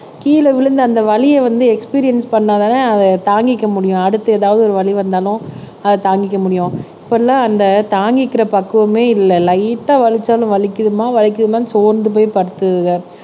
கீழே விழுந்த அந்த வலிய வந்து எக்ஸ்பிரியென்ஸ் பண்ணாதானே அத தாங்கிக்க முடியும் அடுத்து ஏதாவது ஒரு வலி வந்தாலும் அத தாங்கிக்க முடியும் இப்பெல்லாம் அந்த தாங்கிக்கிற பக்குவமே இல்ல லைட் ஆஹ் வலிச்சாலும் வலிக்குதுமா வலிக்குதும்மான்னு சோர்ந்து போய் படுத்துருதுக